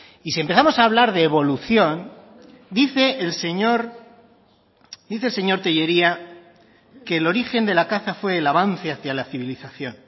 y si empezamos a hablar de evolución dice el señor tellería que el origen de la caza fue el avance hacía la civilización